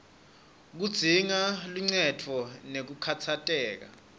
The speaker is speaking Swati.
kudzinga luncendvo ngekukhatsateka